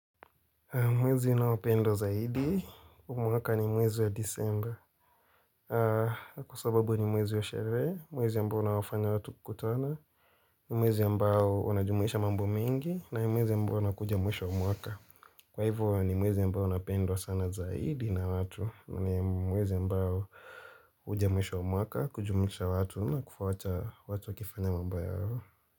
Mwezi ninaopendo zaidi, huu mwaka ni mwezi wa disemba. Kwa sababu ni mwezi wa sherehe, mwezi ambao unawafanya watu kukutana, ni mwezi ambao unajumuisha mambo mengi, na ni mwezi ambao unakuja mwisho wa mwaka. Kwa hivyo ni mwezi ambao unapendwa sana zaidi na watu, na ni mwezi ambao huja mwisho wa mwaka, kujumuisha watu na kufuata watu wakifanya mambo yao.